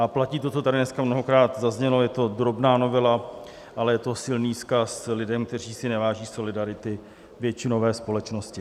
A platí to, co tady dneska mnohokrát zaznělo, je to drobná novela, ale je to silný vzkaz lidem, kteří si neváží solidarity většinové společnosti.